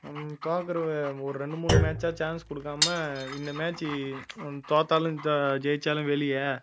பாக்குற ஒரு ரெண்டு மூணு match ஆ chance குடுக்காம இந்த match தோத்தாலும் அஹ் ஜெயிச்சாலும் வெளியே